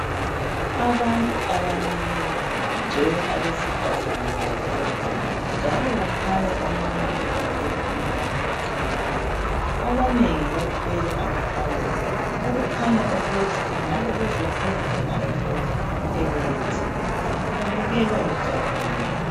abantu abamileyo kugcwele abesifazana kakhulu njalo kukhanya omunye ebambe umama oqhiyileyo abanengi bathwele amathawulo okukhanya ukuthi bengabebezokhunga umama lo ebelethile babukeka bejabulile